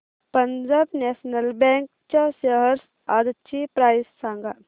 Punjab national bank च्या shares आजची price सांगा